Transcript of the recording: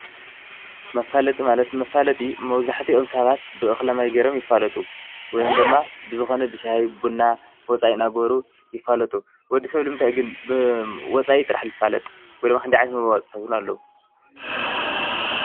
መፋለጢ ማለት መፋለጢ መብዙሕቲኦም ሰባት ብእኽለ ማይ ገይሮም ይፋለጡ ወይም ድማ ብዝኾነ ብሽሂ ብቡና ወፃኢ እናገበሩ ይፋለጡ፡፡ ወዲ ሰብ ልምንታይ ግን ብወፃኢ ጥራሕ ልፋለጥ? ወይ ድማ ክንደይ መፋለጢ ኣለዉ?